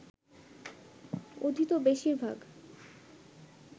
অধীত বেশির ভাগ